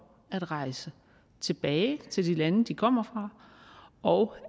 at rejse tilbage til det land de kommer fra og